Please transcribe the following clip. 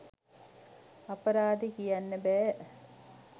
අපරාදේ කියන්න බෑ